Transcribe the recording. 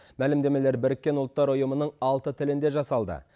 мәлімдемелер біріккен ұлттар ұйымының алты тілінде жасалды